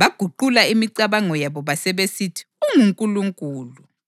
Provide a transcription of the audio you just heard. baguqula imicabango yabo basebesithi ungunkulunkulu.